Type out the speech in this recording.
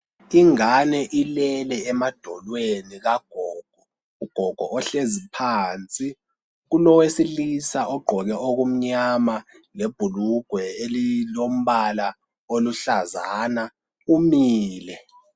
Ingane ilele emadolweni kagogo. Ugogo uhlezi phansi. Kulowesilisa ogqoke okumnyama lebhulugwe elilombala oluhlazana, umile.